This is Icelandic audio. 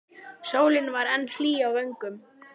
Sólin var enn hlý á vöngum.